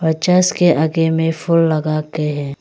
और चर्स के आगे में फुल लगाके है।